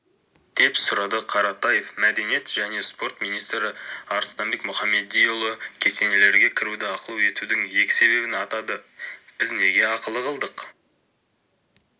деп сұрады қаратаев мәдениет және спорт министрі арыстанбек мұхамедиұлы кесенелерге кіруді ақылы етудің екі себебін атады біз неге ақылы қылдық